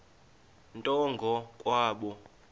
nto ngo kwabo